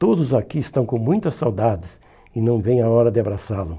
Todos aqui estão com muita saudades e não veem a hora de abraçá-lo.